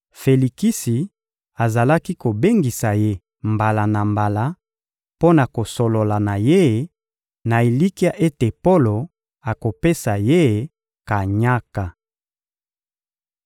Felikisi azalaki kobengisa ye mbala na mbala mpo na kosolola na ye, na elikya ete Polo akopesa ye kanyaka.